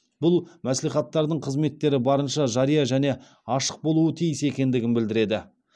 бұл мәслихаттардың қызметтері барынша жария және ашық болуы тиіс екендігін білдіреді